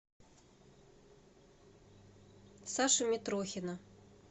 сашу митрохина